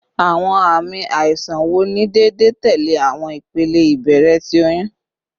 Awọn aami aisan wo ni deede tẹle awọn ipele ibẹrẹ ti oyun?